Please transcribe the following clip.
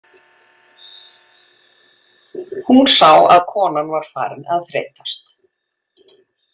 Hún sá að konan var farin að þreytast.